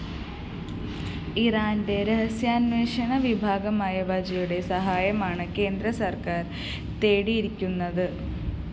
ഇറാന്റെ രഹസ്യാന്വേഷണ വിഭാഗമായ വജയുടെ സഹായമാണ് കേന്ദ്രസര്‍ക്കാര്‍ തേടിയിരിക്കുന്നത്